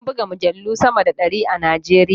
An buga mujallu sama da ɗari a Najeriya.